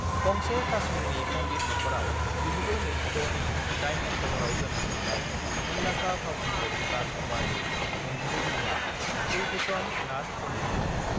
गंसे काश्मीरनि पन्डित नख'राव 1926 नि 8 अक्टबरआव जोनोम मोन्नाय मुंदांखा फावखुंगुर राज कुमारनि नंगुबै मुङा कुलभुषम नाथ पन्डितमोन।